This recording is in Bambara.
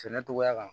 Sɛnɛ cogoya kan